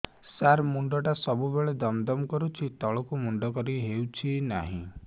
ସାର ମୁଣ୍ଡ ଟା ସବୁ ବେଳେ ଦମ ଦମ କରୁଛି ତଳକୁ ମୁଣ୍ଡ କରି ହେଉଛି ନାହିଁ